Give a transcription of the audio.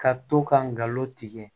Ka to ka ngalon tigɛ